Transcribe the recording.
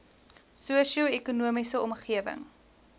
sosio ekonomiese omgewing